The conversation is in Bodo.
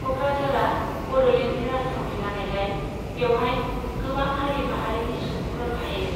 क'क्राझारा बड'लेण्डनि राजथावनि जानायलाय बेवहाय गोबां हारि माहारिनि सुबुंफोर थायो।